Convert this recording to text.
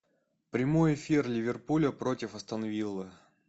прямой эфир ливерпуля против астон вилла